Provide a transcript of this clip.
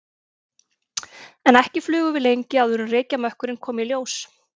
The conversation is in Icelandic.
En ekki flugum við lengi áður en reykjarmökkurinn kom í ljós.